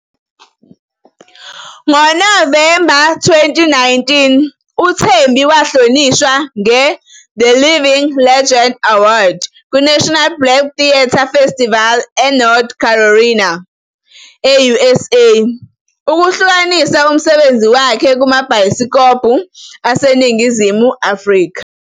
NgoNovemba 2019, uThembi wahlonishwa nge-The Living Legend Award kuNational Black Theatre Festival eNorth Carolina, e-USA ukuhlukanisa umsebenzi wakhe kumabhayisikobho aseNingizimu Afrika.